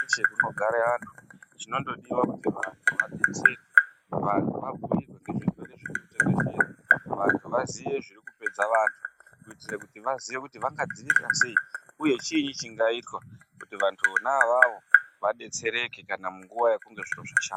Munogara vantu zvinongodiwa kuti vantu vadetserwe vantu vabhuirwe nezvirwere zviri kutekeshera vantu vazive zviri kupedza vantu kuti vazive kuti vangadzivirira sei uye chinyi chikaita kuti vantu vona ivavo vadetsereke munguwa yekunge zviro zvashata.